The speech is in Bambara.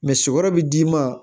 sogo bi d'i ma